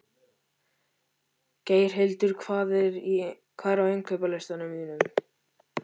Geirhildur, hvað er á innkaupalistanum mínum?